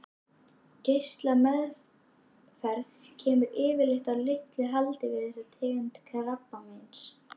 Geislameðferð kemur yfirleitt að litlu haldi við þessa tegund krabbameins.